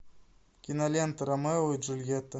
кинолента ромео и джульетта